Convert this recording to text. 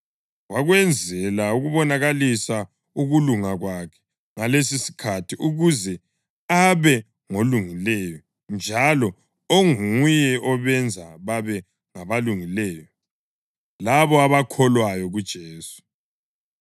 wakwenzela ukubonakalisa ukulunga kwakhe ngalesisikhathi, ukuze abe ngolungileyo njalo onguye obenza babe ngabalungileyo labo abakholwa kuJesu.